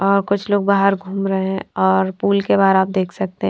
और कुछ लोग बाहर घूम रहे है और पुल के बाहर आप देख सकते हैं।